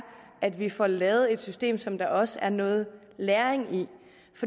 at vi får lavet et system som der også er noget læring